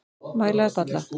Mæla upp alla